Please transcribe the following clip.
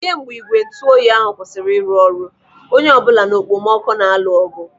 Kemgbe ígwè ntụoyi ahụ kwụsịrị ịrụ ọrụ, onye ọbụla na okpomọkụ na-alụ ọgụ.